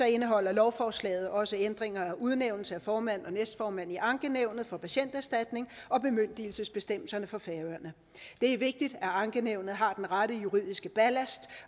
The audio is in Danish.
indeholder lovforslaget også ændringer af udnævnelse af formand og næstformand i ankenævnet for patienterstatningen og bemyndigelsesbestemmerne for færøerne det er vigtigt at ankenævnet har den rette juridiske ballast